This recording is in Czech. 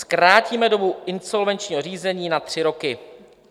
Zkrátíme dobu insolvenčního řízení na tři roky.